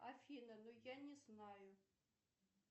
афина ну я не знаю